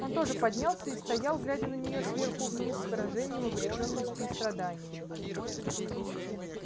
он тоже поднялся и стоял глядя на нее сверху вниз с выражением обречённости и страдания